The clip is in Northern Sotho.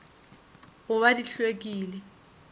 go ba di hlw ekile